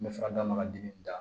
N bɛ fɛ ka d'a ma dimi da